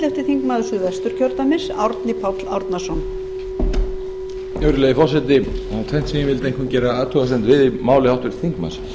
virðulegi forseti það er tvennt sem ég vildi einkum gera athugasemd við í máli háttvirts þingmanns